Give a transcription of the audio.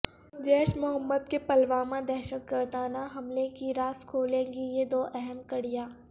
جیش محمد کے پلوامہ دہشت گردانہ حملےکی رازکھولیں گی یہ دواہم کڑیاں